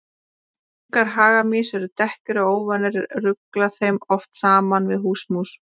Ungar hagamýs eru dekkri og óvanir rugla þeim oft saman við húsamús.